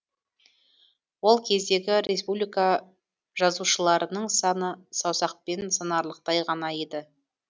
ол кездегі республикажазушыларының саны саусақпен санарлықтай ғана еді